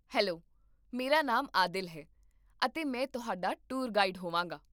hello, ਮੇਰਾ ਨਾਮ ਆਦਿਲ ਹੈ, ਅਤੇ ਮੈਂ ਤੁਹਾਡਾ ਟੂਰ ਗਾਈਡ ਹੋਵਾਂਗਾ